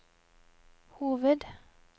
hoved